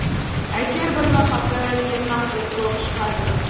әйтеуір бір ноқаты кем нақұрыс болып шығады